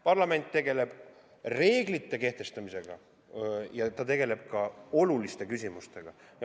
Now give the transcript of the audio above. Parlament tegeleb reeglite kehtestamisega ja ta tegeleb ka oluliste küsimustega.